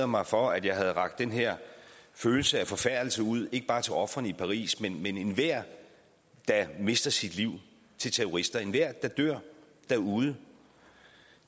mig for at jeg havde rakt den her følelse af forfærdelse ud ikke bare til ofrene i paris men enhver der mister sit liv til terrorister enhver der dør derude